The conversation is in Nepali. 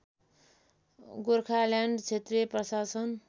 गोर्खाल्यान्ड क्षेत्रीय प्रशासन